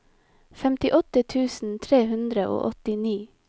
femtiåtte tusen tre hundre og åttini